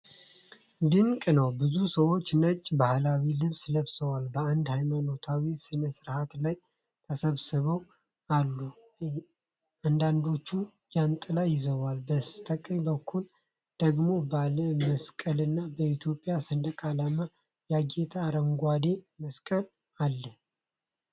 ድንቅ ነው! ብዙ ሰዎች ነጭ ባህላዊ ልብስ ለብሰው በአንድ ሃይማኖታዊ ሥነ-ሥርዓት ላይ ተሰብስበው አሉ። አንዳንዶቹ ጃንጥላ ይዘዋል፤ በስቀኝ በኩል ደግሞ ባለ መስቀልና በኢትዮጵያ ሰንደቅ ዓላማ ያጌጠ አረንጓዴ መዋቅር አለ።